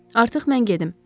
Artıq mən gedim.